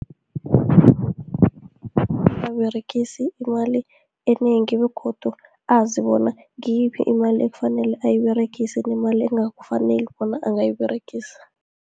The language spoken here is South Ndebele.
Angaberegisi imali enengi, begodu azibona ngiyiphi imali ekufanele ayiberegise, nemali angakufaneli bona angayiberegisa.